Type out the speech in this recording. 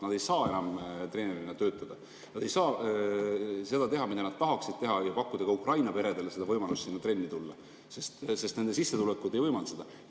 Nad ei saa enam treenerina töötada, nad ei saa teha seda, mida nad tahaksid teha ja pakkuda ka Ukraina peredele võimalust sinna trenni minna, sest nende sissetulekud ei võimalda seda.